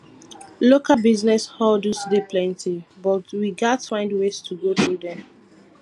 local business hurdles dey plenty but we gats find ways to go through dem